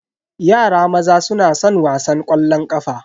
Yara maza suna san wasan ƙwallon ƙafa.